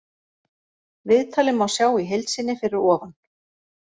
Viðtalið má sjá í heild sinni fyrir ofan.